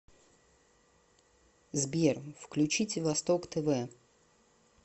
сбер включите восток тв